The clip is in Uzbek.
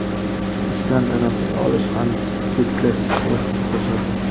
ishdan tanaffus olish ham tetiklashishga hissa qo‘shadi.